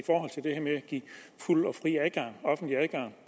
give fuld og fri offentlig adgang